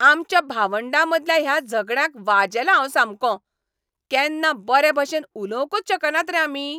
आमच्या भावंडामदल्या ह्या झगड्यांक वाजेलां हांव सामकों. केन्ना बरेभाशेन उलोवंकच शकनात रे आमी?